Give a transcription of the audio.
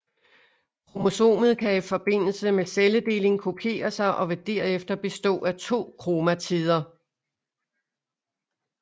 Kromosomet kan i forbindelse med celledeling kopiere sig og vil derefter bestå af to kromatider